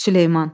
Süleyman!